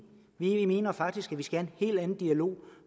i vi mener faktisk at vi skal have en helt anden dialog